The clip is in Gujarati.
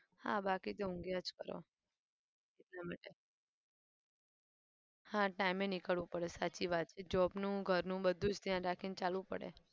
હા બાકી તો ઊંઘ્યાં જ કરો એટલા માટે હા time એ નીકળવું પડે સાચી વાત છે job નું ઘરનું બધું જ ધ્યાન રાખીને ચાલવું પડે.